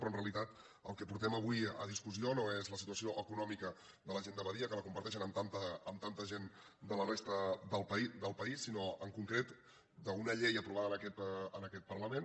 però en realitat el que portem avui a discussió no és la situació econòmica de la gent de badia que la comparteixen amb tanta gent de la resta del país sinó en concret una llei aprovada en aquest parlament